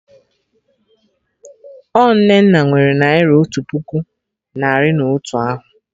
Ọ Nnenna nwere Naira otu puku narị na otu ahụ